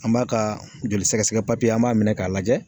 An b'a ka joli sɛgɛsɛgɛ papiye an b'a minɛ k'a lajɛ